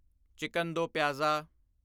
chicken do pyaza